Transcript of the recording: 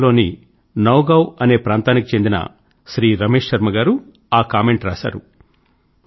అస్సామ్ లోని నౌగావ్ అనే ప్రాంతానికి చెందిన శ్రీ రమేష్ శర్మ గారు ఆ కామెంట్ రాశారు